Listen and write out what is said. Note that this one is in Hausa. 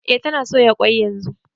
E tana soya ƙwai yanzu